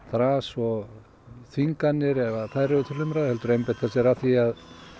þras og þvinganir ef þær eru til umræðu heldur að einbeita sér að því